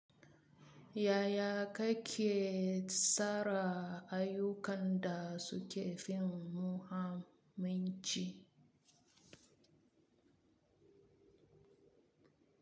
Yaya kake tsara ayyukan da suke fin muhamanci?